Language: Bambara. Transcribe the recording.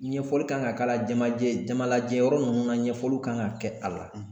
Ɲɛfɔli kan ka k'a la jamajɛ jamalajɛyɔrɔ ninnu na ɲɛfɔli kan ka kɛ a la